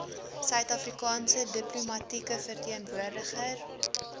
suidafrikaanse diplomatieke verteenwoordiger